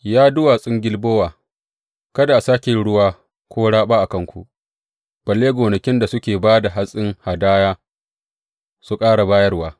Ya duwatsun Gilbowa, kada a sāke yin ruwa ko raɓa a kanku, balle gonakin da suke ba da hatsin hadaya su ƙara bayarwa.